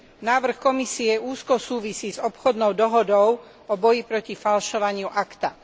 Návrh Komisie úzko súvisí s obchodnou dohodou o boji proti falšovaniu ACTA.